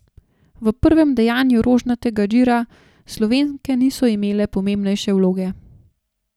V prvem dejanju Rožnatega gira Slovenke niso imele pomembnejše vloge.